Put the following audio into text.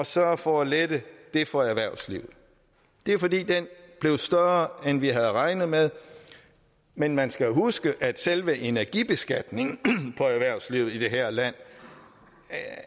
sørget for at lette det for erhvervslivet det er fordi den blev større end vi havde regnet med men man skal huske at selve energibeskatningen på erhvervslivet i det her land